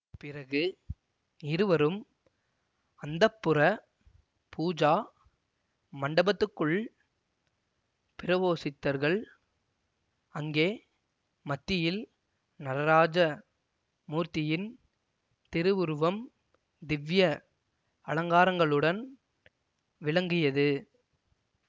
பிறகு இருவரும் அந்தப்புர பூஜா மண்டபத்துக்குள் பிரவோசித்தர்கள் அங்கே மத்தியில் நடராஜ மூர்த்தியின் திருவுருவம் திவ்ய அலங்காரங்களுடன் விளங்கியது